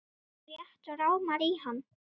Mig rétt rámar í hann.